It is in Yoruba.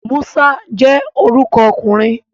Musa je oruko okunrin